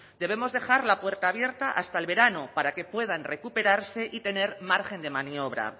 debemos dejar la puerta abierta hasta el verano para que puedan recuperarse y tener margen de maniobra